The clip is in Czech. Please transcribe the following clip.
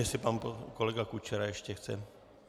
Jestli pan kolega Kučera ještě chce?